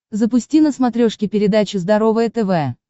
запусти на смотрешке передачу здоровое тв